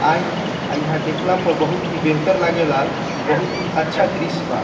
आई आ इहा देखला पर बहुत ही बेहतर लागेला इ बहुत ही अच्छा दृश्य बा |